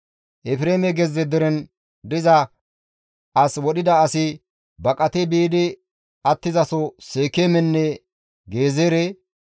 Efreeme gezze deren diza as wodhida asi baqati biidi attizaso Seekeemenne Gezeere,